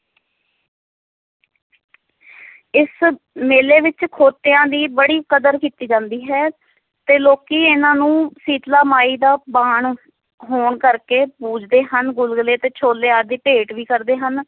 ਇਸ ਮੇਲੇ ਵਿੱਚ ਖੋਤਿਆਂ ਦੀ ਬੜੀ ਕਦਰ ਕੀਤੀ ਜਾਂਦੀ ਹੈ, ਤੇ ਲੋਕੀ ਇਹਨਾਂ ਨੂੰ ਸੀਤਲਾ ਮਾਈ ਦਾ ਵਾਹਣ ਹੋਣ ਕਰਕੇ ਪੂਜਦੇ ਹਨ, ਗੁਲਗੁਲੇ ਤੇ ਛੋਲੇ ਆਦਿ ਭੇਟ ਵੀ ਕਰਦੇ ਹਨ।